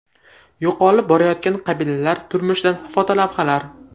Yo‘qolib borayotgan qabilalar turmushidan fotolavhalar.